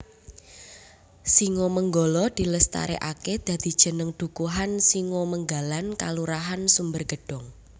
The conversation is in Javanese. Singomenggala dilestareake dadi jeneng dukuhan Singomenggalan Kelurahan Sumbergedong